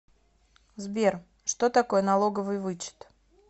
сбер что такое налоговый вычет